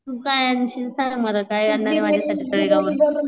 तू काय आणशील सांग मला काय आणणारे माझ्यासाठी तळेगाव वरून.